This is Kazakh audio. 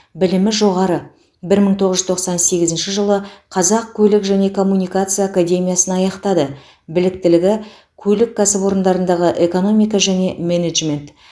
білімі жоғары бір мың тоғыз жүз тоқсан сегізінші жылы қазақ көлік және коммуникация академиясын аяқтады біліктігі көлік кәсіпорындарындағы экономика және менеджмент